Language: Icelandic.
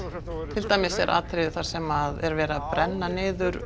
til dæmis er atriðið þar sem er verið að brenna niður